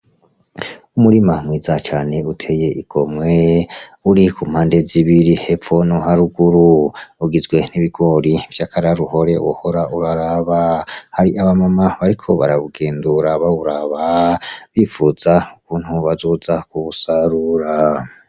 Umurima mwiza cane uteye igomwe uri ku mpande zibiri hepfo no haruguru ugizwe n' ibigori vy' akararuhore wohora uraraba hari aba mama bariko barawugendura bawuraba bipfuza ukuntu bazoza kuwusarura.